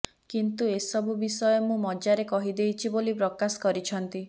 କିନ୍ତୁ ଏସବୁ ବିଷୟ ମୁଁ ମଜାରେ କହିଦେଈଛି ବୋଲି ପ୍ରକାଶ କରିଛନ୍ତୀ